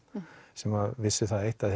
sem vissu það eitt að